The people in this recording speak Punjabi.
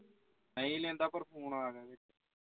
ਨਈ ਲੈਂਦਾ ਪਰ phone ਆ ਗਿਆ ਵਿੱਚ